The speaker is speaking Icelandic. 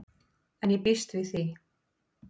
En ég býst við því.